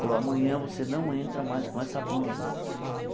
Falou, amanhã você não entra mais com essa blusa.